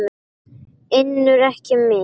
UNNUR: Ekki mitt.